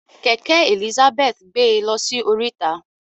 Kẹkẹ Elizabeth gbe lọsí oríta.